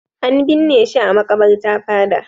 An binne shi a maƙabarta fada.